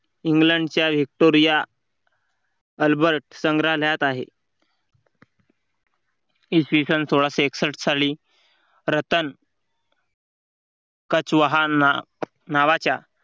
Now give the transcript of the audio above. इंग्लंडच्या Victoria albert संग्रहालयात आहे. इसवी सन सोळाशे एकसष्ठ साली रतन नावाच्या